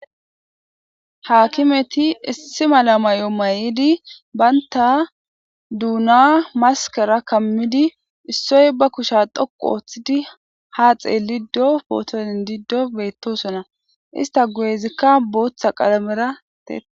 haakimeti issi mala may7o may7idi baynta duuna maskara kammidi issoy ba kusha dhoqu ooththidi ha xeeliddo pootonin diddo beyttosona ista goeezikka booththa qalamera tee